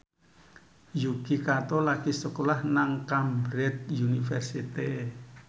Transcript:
Yuki Kato lagi sekolah nang Cambridge University